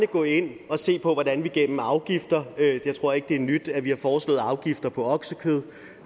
gå ind og se på hvordan vi gennem afgifter jeg tror ikke det er nyt at vi har foreslået afgifter på oksekød